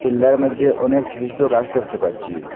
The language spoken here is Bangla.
টিল্লার মইদ্যে অনেক ছুটো ছুটো গাস দ্যাখতে পাচ্চি।